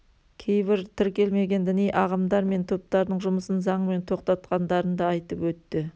кейбір тіркелмеген діни ағымдар мен топтардың жұмысын заңмен тоқтатқандарын да айтып өтті